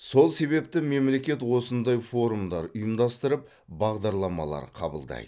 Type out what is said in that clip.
сол себепті мемлекет осындай форумдар ұйымдастырып бағдарламалар қабылдайды